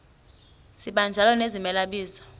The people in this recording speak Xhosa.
sibanjalo nezimela bizo